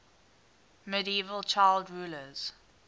medieval child rulers